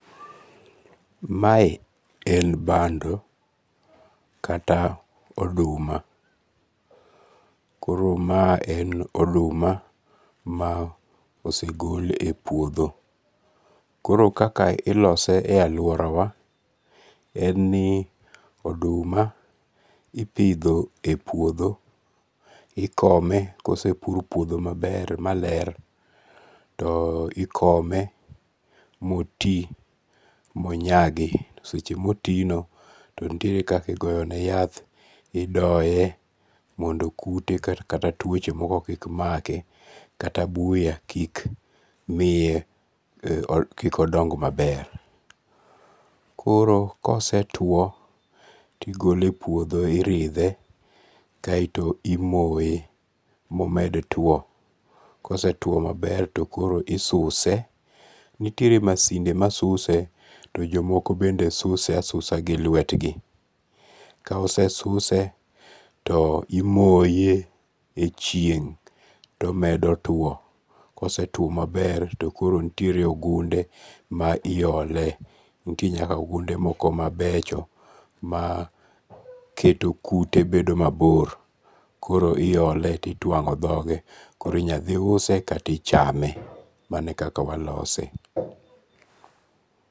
Mae en bando kata oduma, koro mae en oduma ma osegol e puotho, koro kaka ilose e aluorawa en ni oduma ipitho e puotho, ikome kosepur puotho maler to ikome ma oti monyagi, seche motino, to nitiere kaka igoyone yath idoye mondo kute kata tuoche moko kik make, kata buya kik miye kik odong maber, koro kosetuo tigole e puotho tirithe, kaeto imoye momed twuo, kosetuo maber to koro isuse, nitiere masinde masuse to jomoko bende suse asusa gi lwetgi, ka osesuse to imoye e chieng' to omedo twuo, kosetuo maber to koro nitiere ogunde ma iyole, nitiere ogunde moko mabecho maketo kute moko bedo mabor koro iyole to itwango' thoge, koro inyathi use kata ichame mano e kaka walose